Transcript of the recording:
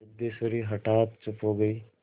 सिद्धेश्वरी हठात चुप हो गई